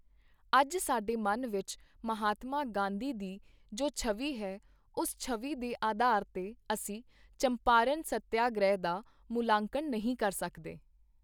ਅੱਜ ਸਾਡੇ ਮਨ ਵਿੱਚ ਮਹਾਤਮਾ ਗਾਂਧੀ ਦੀ ਜੋ ਛਵੀ ਹੈ, ਉਸ ਛਵੀ ਦੇ ਆਧਾਰ ਤੇ ਅਸੀਂ ਚੰਪਾਰਣ ਸੱਤਿਆਗ੍ਰਹਿ ਦਾ ਮੁਲਾਂਕਣ ਨਹੀਂ ਕਰ ਸਕਦੇ।